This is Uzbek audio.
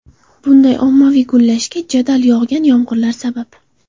Bunday ommaviy gullashga jadal yog‘gan yomg‘irlar sabab.